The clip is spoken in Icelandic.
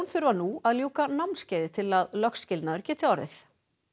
þurfa nú að ljúka námskeiði til að lögskilnaður geti orðið